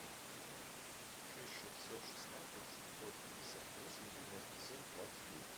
шесть шестьсот шестнадцать сто пятьдесят восемь девяносто семь двадцать девять